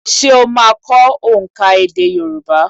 Ṣé o máa kọ́ òǹkà èdè Yorùbá?